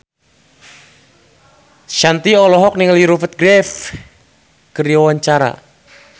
Shanti olohok ningali Rupert Graves keur diwawancara